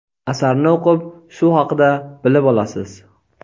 Asarni o‘qib shu haqida bilib olasiz.